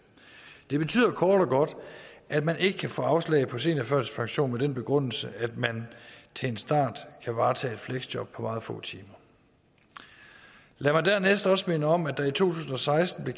det betyder kort og godt at man ikke kan få afslag på seniorførtidspension med den begrundelse at man til en start kan varetage et fleksjob på meget få timer lad mig dernæst også minde om at der i to tusind og seksten